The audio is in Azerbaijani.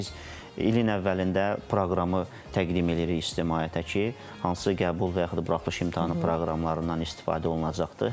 Çünki biz ilin əvvəlində proqramı təqdim eləyirik ictimaiyyətə ki, hansı qəbul və yaxud buraxılış imtahanı proqramlarından istifadə olunacaqdır.